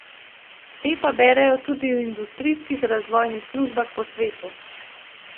Te pa berejo tudi v industrijskih razvojnih službah po svetu.